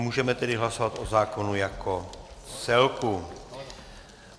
Můžeme tedy hlasovat o zákonu jako celku.